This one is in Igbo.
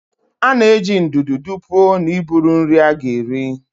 A na-eji ndụdụ dụpuo na iburu nri a ga-eri.